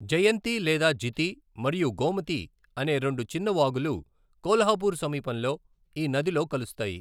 జయంతి లేదా జితి మరియు గోమతి అనే రెండు చిన్న వాగులు కొల్హాపూర్ సమీపంలో ఈ నదిలో కలుస్తాయి.